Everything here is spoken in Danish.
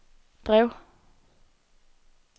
drev